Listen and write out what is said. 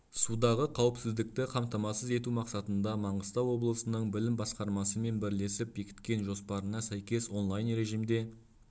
судағы қауіпсіздікті қамтамасыз ету мақсатында маңғыстау облысының білім басқармасы мен бірлесіп бекіткен жоспарына сәйкес онлайн режимде